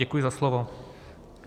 Děkuji za slovo.